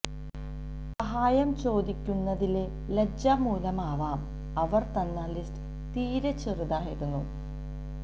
സഹായം ചോദിക്കുന്നതിലെ ലജ്ജ മൂലമാവാം അവർ തന്ന ലിസ്റ്റ് തീരെ ചെറുതായിരുന്നു